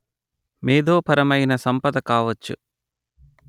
మేధోపరమైన సంపద కావచ్చు